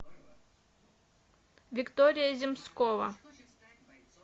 виктория земскова